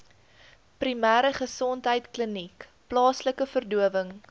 primêregesondheidkliniek plaaslike verdowing